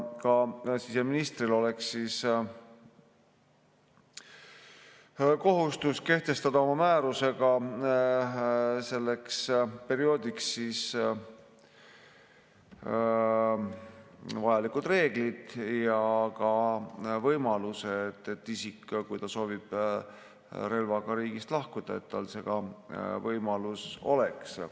Ka siseministril oleks kohustus kehtestada oma määrusega selleks perioodiks reeglid ja ka see, et isikul, kui ta soovib relvaga riigist lahkuda, see võimalus oleks.